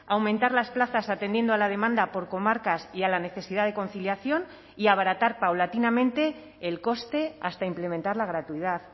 aumentar las plazas atendiendo a la demanda por comarcas y a la necesidad de conciliación y abaratar paulatinamente el coste hasta implementar la gratuidad